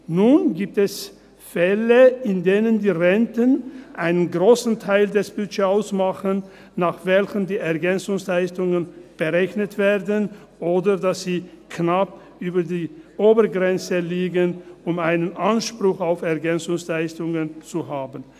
Nun gibt es Fälle, in denen die Renten einen grossen Teil des Budgets ausmachen, nach welchen die EL berechnet werden, oder dass sie knapp über der Obergrenze liegen, um einen Anspruch auf EL zu haben.